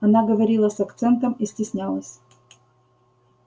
она говорила с акцентом и стеснялась